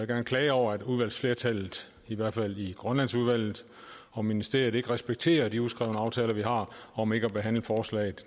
gerne klage over at udvalgsflertallet i hvert fald i grønlandsudvalget og ministeriet ikke respekterer de uskrevne aftaler vi har om ikke at behandle forslag